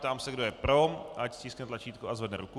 Ptám se, kdo je pro, ať stiskne tlačítko a zvedne ruku.